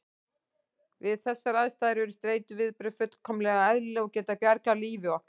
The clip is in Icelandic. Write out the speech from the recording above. Við þessar aðstæður eru streituviðbrögð fullkomlega eðlileg og geta bjargað lífi okkar.